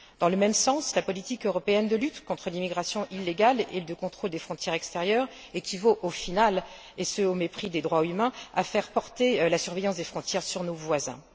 Dans le même sens, la politique européenne de lutte contre l'immigration illégale et de contrôle des frontières extérieures équivaut, au final, et ce au mépris des droits humains, à faire porter la surveillance des frontières sur nos voisins.